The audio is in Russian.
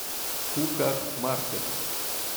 хуках маркет